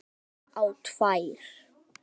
Rakst bara á tvær.